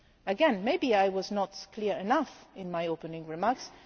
Again, maybe I was not clear enough in my opening remarks.